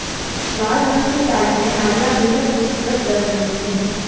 लाल रंग की साड़ी में आलिया बेहद खूबसूरत लग रही थीं